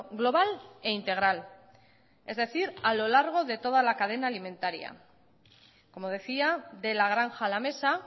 global e integral es decir a lo largo de toda la cadena alimentaria como decía de la granja a la mesa